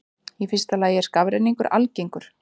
Í fyrsta lagi er skafrenningur algengur.